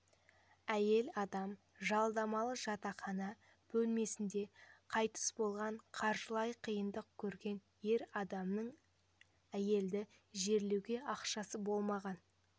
әйел адам жалдамалы жатақхана бөлмесінде қайтыс болған қаржылай қиындық көрген ер адамның әйелді жерлеуге ақшасы болмаған